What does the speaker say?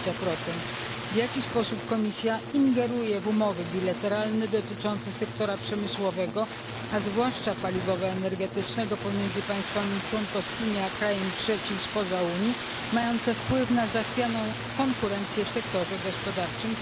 20? W jaki sposób Komisja ingeruje w umowy bilateralne dotyczące sektora przemysłowego, a zwłaszcza paliwowo energetycznego pomiędzy państwami członkowskimi a krajem trzecim spoza Unii, mające wpływ na zachwianą konkurencję w sektorze gospodarczym?